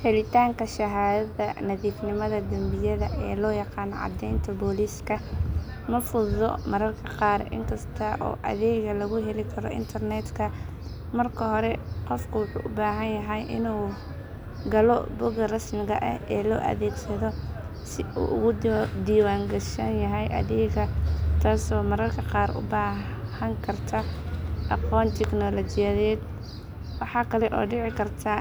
Helitaanka shahaadada nadiifnimada dambiyada ee loo yaqaan caddeynta booliska ma fududa mararka qaar inkasta oo adeegga lagu heli karo internetka. Marka hore qofku wuxuu u baahan yahay inuu galo bogga rasmiga ah ee la adeegsado si uu ugu diiwaangashan yahay adeegga, taasoo mararka qaar u baahan karta aqoon tiknoolajiyadeed. Waxaa kale oo dhici karta